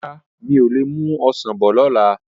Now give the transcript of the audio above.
Rárá, mi ò lè mú Ọsàn bọ̀ ni ọ̀la.